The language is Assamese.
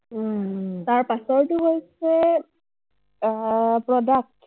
তাৰ পাছৰটো হৈছে আহ product ।